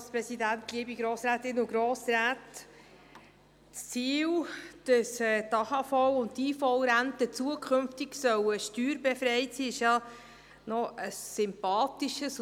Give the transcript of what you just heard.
Das Ziel, dass die AHV und die IV zukünftig steuerbefreit sein sollen, ist ja eigentlich ein sympathisches.